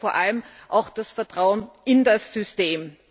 Und wir brauchen vor allem das Vertrauen in das System.